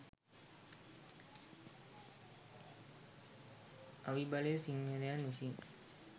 අවි බලය සිංහලයන් විසින්